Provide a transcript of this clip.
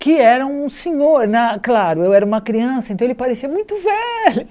Que era um senhor na, claro, eu era uma criança, então ele parecia muito velho.